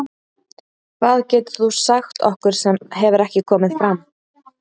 Hvað getur þú sagt okkur sem hefur ekki komið fram?